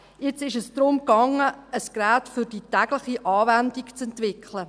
Nun ging es darum, ein Gerät für die tägliche Anwendung zu entwickeln.